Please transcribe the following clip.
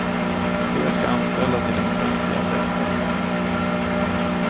Fler ska anställas i den offentliga sektorn.